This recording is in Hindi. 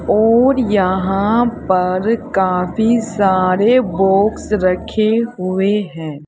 और यहां पर काफी सारे बॉक्स रखे हुए हैं।